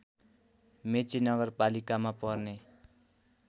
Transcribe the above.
मेची नगरपालिकामा पर्ने